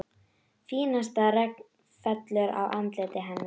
Fínasta regn fellur á andlitið hennar.